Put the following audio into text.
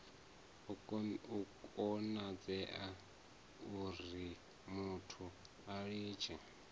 a konadzea urimuthu a litshe